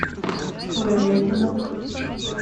говядина